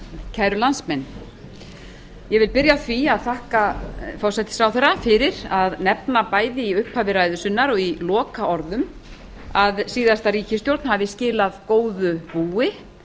kæru landsmenn ég vil byrja á því að þakka forsætisráðherra fyrir að nefna bæði í upphafi ræðu sinnar og í lokaorðum að síðasta ríkisstjórn hafi skilað góðu búi